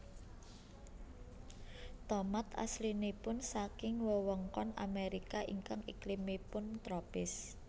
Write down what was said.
Tomat aslinipun saking wewengkon Amerika ingkang iklimipun tropis